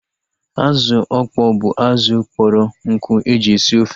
Azụ ọkpọ bụ azụ kpọrọ nkụ eji esi ofe